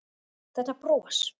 Þetta bros!